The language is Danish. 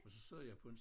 Og så sad jeg på en